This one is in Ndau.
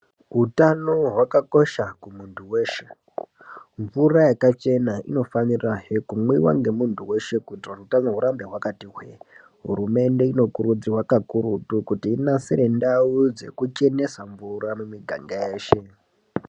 Utano hwakakosha kumuntu weshe, mvura yakachena inofanirahe kumwiwa ngemunhu weshe kuti utano hurambe hwakati hwee. Hurumende inokuridzirwa kakurutu kuti inasire ndau dzekuchenesa mvura mumiganga yeshe.